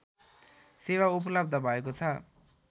सेवा उपलव्ध भएको छ